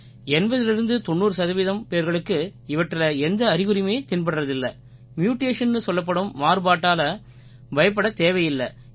8090 சதவீதம் பேர்களுக்கு இவற்றில எந்த அறிகுறியுமே தென்படுறதில்லை mutationன்னு சொல்லப்படும் மாறுபாட்டால பயப்படத் தேவையில்லை